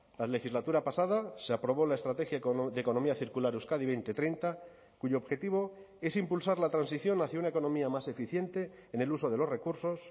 la legislatura pasada se aprobó la estrategia de economía circular euskadi dos mil treinta cuyo objetivo es impulsar la transición hacia una economía más eficiente en el uso de los recursos